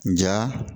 N ɲa